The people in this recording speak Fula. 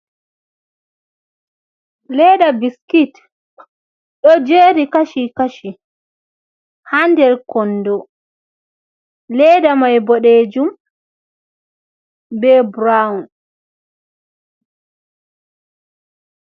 Ledda biskit ɗo jeri kashi kashi ha nder kondo, ledda mai boɗejum be brown.